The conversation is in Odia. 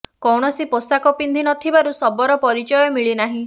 ଣସି ପୋଷାକ ପିନ୍ଧି ନ ଥିବାରୁ ଶବର ପରିଚୟ ମିଳିନାହିଁ